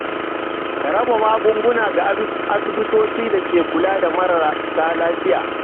Ka raba magunguna ga asibitocin da ke kula da marasa lafiya.